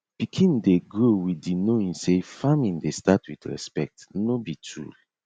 pikin dey grow with di knowing say farming dey start with respect no be tool